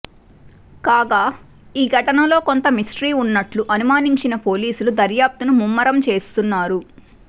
కాగా ఈ ఘటనలో కొంత మిస్టరీ ఉన్నట్లు అనుమానించిన పోలీసులు దర్యాప్తును ముమ్మరం చేస్తున్నారు